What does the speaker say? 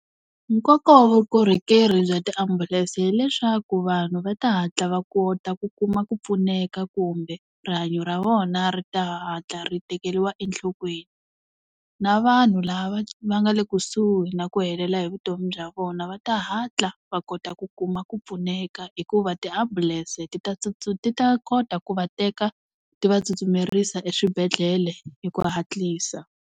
Nkoka wo vukorhokeri bya tiambulense hileswaku vanhu va ta hatla va kota ku kuma ku pfuneka kumbe rihanyo ra vona ri ta hatla ri tekeriwa enhlokweni. Na vanhu lava va va nga le kusuhi na ku helela hi vutomi bya vona va ta hatla va kota ku kuma ku pfuneka hikuva ti ambulense ti ta ti ta kota ku va teka, ti va tsutsumerisa eswibedhlele hi ku hatlisa.